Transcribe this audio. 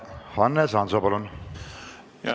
Hannes Hanso, palun!